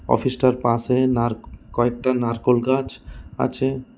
Office টার পাশে নারক্ কয়েকটা নারকোল গাছ আছে।